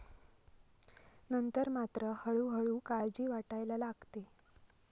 नंतर मात्र हळूहळू काळजी वाटायला लागते.